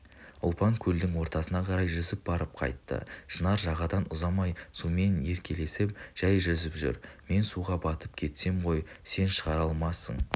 ұлпан көлдің ортасына қарай жүзіп барып қайтты шынар жағадан ұзамай сумен еркелесіп жай жүзіп жүр мен суға батып кетсем ғой сен шығара алмайсың